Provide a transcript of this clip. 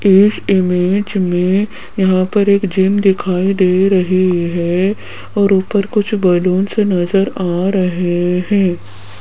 इस इमेज में यहां पर एक जिम दिखाई दे रही है और ऊपर कुछ बलून्स नजर आ रहे हैं।